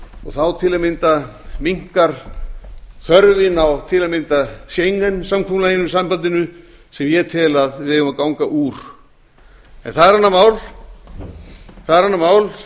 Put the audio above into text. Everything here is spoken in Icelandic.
og þá til að mynda minnkar þörfin á til að mynda schengen sambandinu sem ég tel að við eigum að ganga úr en það er annað mál